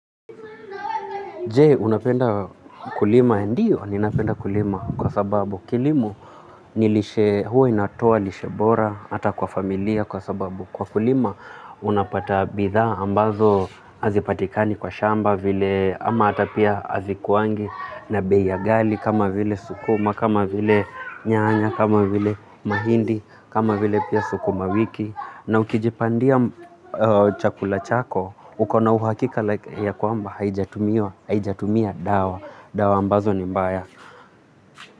Je, unapenda kulima ndio, ninapenda kulima kwa sababu kilimo nilishee, huwa inatoa lishe bora, hata kwa familia kwa sababu kwa kulima unapata bidhaa ambazo hazipatikani kwa shamba vile ama hata pia hazikuangi na bei ya gali kama vile sukuma, kama vile nyanya, kama vile mahindi, kama vile pia sukuma wiki. Na ukijipandia chakula chako, hukona uhakika ya kwamba haijatumia dawa, dawa ambazo ni mbaya.